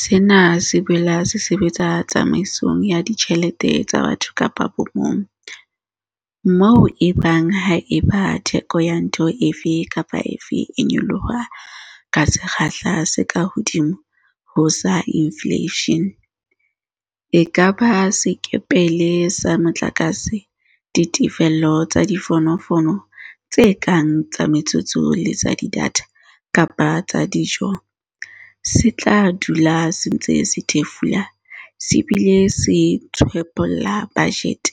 Sena se boela se sebetsa tsamaisong ya ditjhe lete tsa batho ka bomong, moo e bang haeba theko ya ntho efe kapa efe e nyoloha ka sekgahla se kahodimo ho sa infleishene - e ka ba sekepele sa motlakase, ditefello tsa difonofono tse kang tsa metsotso le tsa data kapa tsa dijo - se tla dula se ntse se thefula se bile se tshwephola bajete